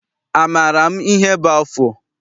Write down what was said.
Amaara m ihe bụ afụ?